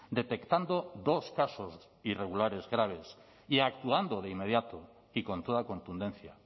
detectando dos casos irregulares graves y actuando de inmediato y con toda contundencia